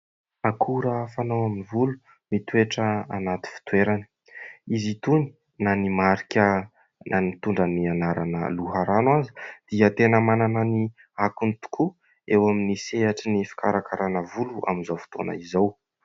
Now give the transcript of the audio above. Akora fanao amin'ny volo mitoetra anaty fitoerany. Izy itony na ny marika na nitondra ny anarana loharano aza dia tena manana ny akony tokoa eo amin'ny sehatry ny fikarakarana volo amin'izao fotoana izao.